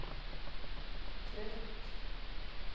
trött